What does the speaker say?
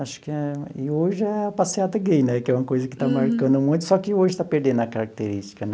Acho que é e hoje é a Passeata Gay né, que é uma coisa que está marcando muito, só que hoje está perdendo a característica né.